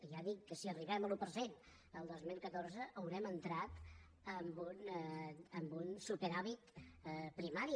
ja dic que si arribem a l’un per cent el dos mil catorze haurem entrat en un superàvit primari